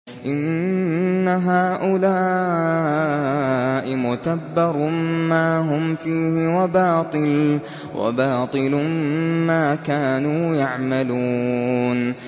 إِنَّ هَٰؤُلَاءِ مُتَبَّرٌ مَّا هُمْ فِيهِ وَبَاطِلٌ مَّا كَانُوا يَعْمَلُونَ